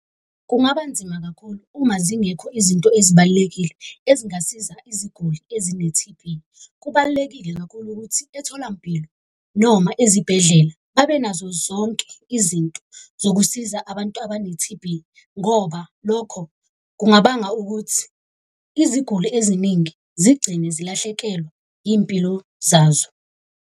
Kungaba nzima kakhulu uma zingekho izinto ezibalulekile ezingasiza iziguli ezine-T_B. Kubalulekile kakhulu ukuthi etholampilo noma ezibhedlela babenazo zonke izinto zokusiza abantu abane-T_B. Ngoba lokho kungabanga ukuthi iziguli eziningi zigcine zilahlekelwa iy'mpilo zazo.